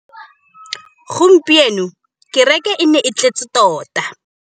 Gompieno kêrêkê e ne e tletse tota.